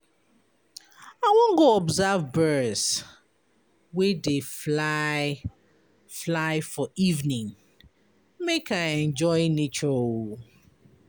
I wan go observe birds wey dey fly fly for evening make I enjoy nature oo.